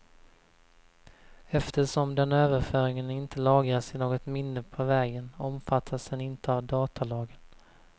Eftersom den överföringen inte lagras i något minne på vägen, omfattas den inte av datalagen.